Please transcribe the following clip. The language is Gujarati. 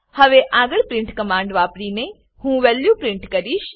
હવે આગળ પ્રિન્ટ કમાંડ વાપરીને હું વેલ્યુ પ્રિન્ટ કરીશ